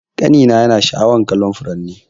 Kani na yana sha'awar kallon furanni.